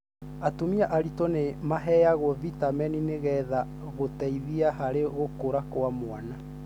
Atumia aritũ nĩ maheagwo vitamini nĩgetha gũteithia harĩ gũkũra kwa mwana.